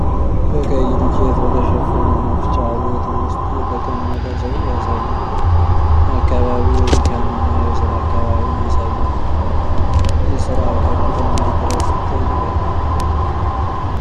በቀይ ዱቄት በተሸፈነ መፍጫ ቤት ውስጥ የተቀመጠ ሰው ያሳያል። ሰውዬው በሁለት መፍጫ ማሽኖች መካከል በቡሽ ላይ ተቀምጧል። አካባቢው የድካም እና የሥራ ከባቢን ያሳያል። ይህ ሥራ ከፍተኛ ጥረት ይጠይቃል?